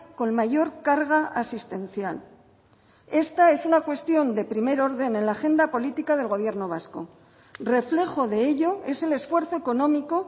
con mayor carga asistencial esta es una cuestión de primer orden en la agenda política del gobierno vasco reflejo de ello es el esfuerzo económico